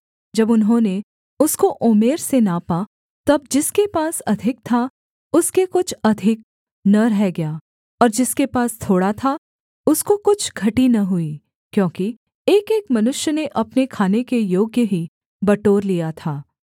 जब उन्होंने उसको ओमेर से नापा तब जिसके पास अधिक था उसके कुछ अधिक न रह गया और जिसके पास थोड़ा था उसको कुछ घटी न हुई क्योंकि एकएक मनुष्य ने अपने खाने के योग्य ही बटोर लिया था